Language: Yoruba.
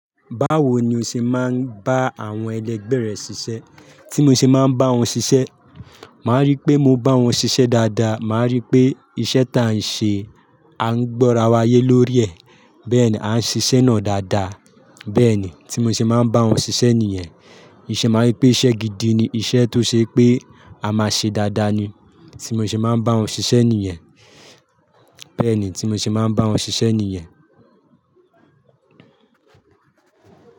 Báwo ni o ṣe máa ń bá àwọn ẹlẹgbẹ́ rẹ sisẹ́? Tí mo ṣe máa ń bá wọn ṣiṣẹ́, màá rí pé mo bá wọn ṣiṣẹ́ dáadáa, màá rí pé iṣẹ́ ta n ṣe, a ń gborawa ayé lórí ẹ̀, bẹ́ẹ̀ni a ń ṣiṣẹ́ náà dáadáa, bẹ́ẹ̀ni tí mo ṣe máa ń bá wọn ṣiṣẹ́ nìyẹn. Ìṣe, màá rí pé iṣẹ́ gidi ni iṣẹ́ tó ṣe pé a máa ṣe dáadáa ni, tí mo ṣe máa ń bá wọn ṣiṣẹ́ nìyẹn, bẹ́ẹ̀ni tí mo ṣe máa ń bá wọn ṣiṣẹ́ nìyẹn.